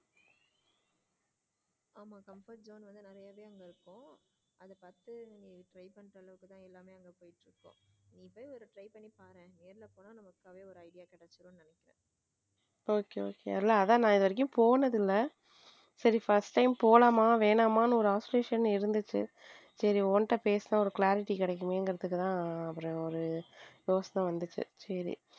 Okay okay அதான் இதுவரைக்கும் நான் போனதில்லை சரி first time போலாமா வேணாமா ஒரு oscillation இருந்துச்சு சரி உன்கிட்ட பேசினா ஒரு clarity கிடைக்குமே அப்படித்தான் ஒரு யோசனை வந்துச்சு சரி.